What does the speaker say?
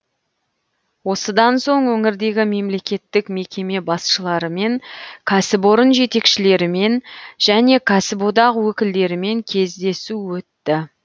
осыдан соң өңірдегі мемлекеттік мекеме басшыларымен кәсіпорын жетекшілерімен және кәсіподақ өкілдерімен кездесу өтті